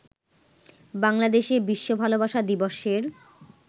বাংলাদেশে বিশ্ব ভালোবাসা দিবসের